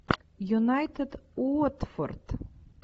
юнайтед уотфорд